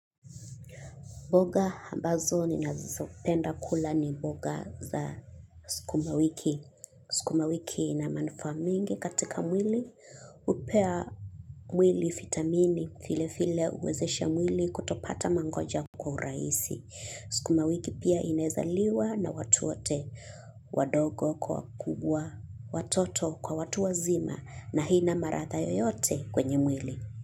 Boga ambazo ni nazopenda kula ni boga za sikuma wiki. Sukuma wiki ina manufaa mingi katika mwili, upea mwili, fitamini, file file uwezesha mwili kutopata mangoja kwa uraisi. Sukuma wiki pia inaezaliwa na watuwote wadogo kwa kubwa watoto kwa watuwa zima na hina maratha yoyote kwenye mwili.